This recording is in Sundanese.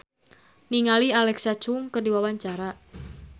Anisa Bahar olohok ningali Alexa Chung keur diwawancara